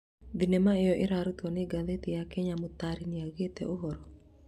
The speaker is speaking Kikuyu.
Thinema ĩyo ĩrĩa ĩrutĩtwo nĩ ngathĩti ya Kenya mũtarii nĩaugĩte, "ũhoro?"